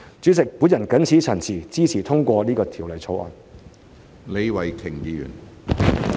主席，我謹此陳辭，支持通過《條例草案》。